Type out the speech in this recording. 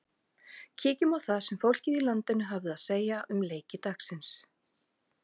Kíkjum á það sem fólkið í landinu hafði að segja um leiki dagsins.